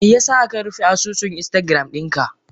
Meyasa akarufe asusun instagram dinka?